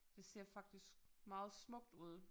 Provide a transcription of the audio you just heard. Det ser faktisk meget smukt ud